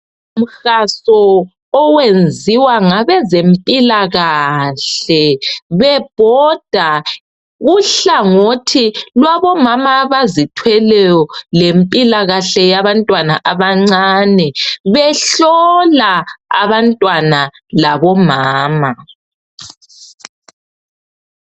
Umkhankaso oyenziwa ngabezempilakahle bebhoda. Uhlangothi lwabomama abazithweleyo lempilakahle yabantwana abancane behlola abantwana labomama.